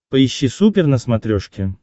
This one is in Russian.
поищи супер на смотрешке